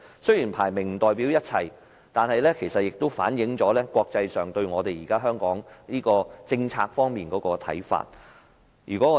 雖然排名不代表一切，但也反映了國際社會對香港現行政策的看法。